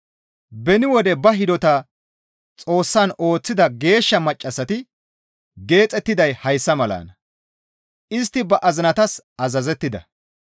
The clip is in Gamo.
Beni wode ba hidota Xoossan ooththida geeshsha maccassati geexettiday hayssa malanna; istti ba azinatas azazettida.